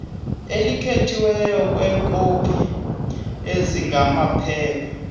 elikhethiweyo leekopi ezingamaphepha